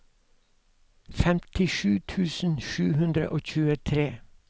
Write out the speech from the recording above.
femtisju tusen sju hundre og tjuetre